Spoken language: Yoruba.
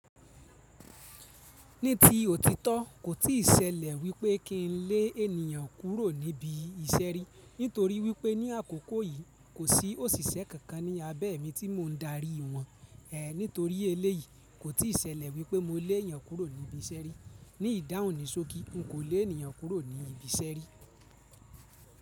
Ní ti òtítọ́, kò tíì ṣẹlẹ̀ wípé kín lé ènìyàn kúrò níbi ìṣe ri. Nítorí wípé ní àkókò yìí, kò sí òṣìṣẹ́ kankan ní abẹ́ mi tí mò ń darí wọn. Nítorí eléyìí, kò tí ì ṣẹlẹ̀ wípé mó lé ènìyàn kúrò níbi ìṣeré. Ni ìdáhùn ni sókí, n kò lé ènìyàn kúrò níbi ìṣe ri.